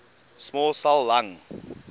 small cell lung